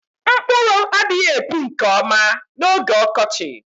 Mkpụrụ adịghị epu nke ọma n'oge ọkọchị